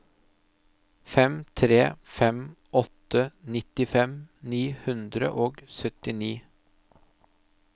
fem tre fem åtte nittifem ni hundre og syttini